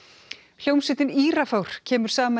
hljómsveitin Írafár kemur saman í